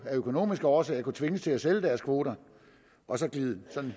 af økonomiske årsager kunne tvinges til at sælge deres kvoter og glide